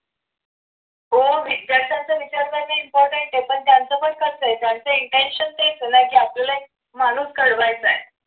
हो विद्यार्थ्यांचा विचार करण important आहे पण त्यांचं पण कळतंय की त्यांचं पण intention तेच आहे ना की आपल्याला एक माणूस घडवायचा आहे.